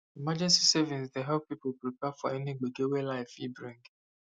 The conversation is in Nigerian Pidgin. emergency savings dey help people prepare for any gbege wey life fit bring